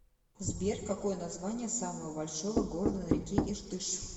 сбер какое название самого большого города на реке иртыш